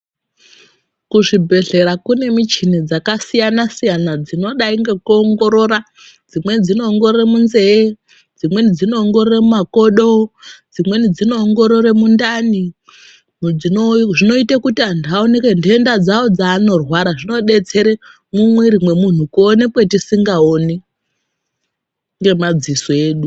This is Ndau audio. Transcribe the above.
Kuzvibhedhlera kunemichini dzakasiyana siyana dzinodai ngekuongorore ,dzimweni dzinoongorore munzeve, dzimweni dzinoongorore mumakodo, dzimweni dzinoongorore mundani dzino zvinoita kuti vanhu vaonekwe ndenda dzavo dzaanonorwara zvinobetsera mumiriri memunhu kuonekwe tisingaoni nemaziso edu.